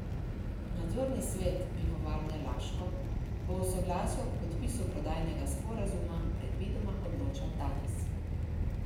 Nadzorni svet Pivovarne Laško bo o soglasju k podpisu prodajnega sporazuma predvidoma odločal danes.